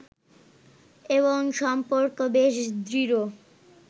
এবং সম্পর্ক বেশ দৃঢ়